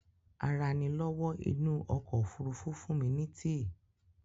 Aranilówó inú okò òfurufú fún mi tea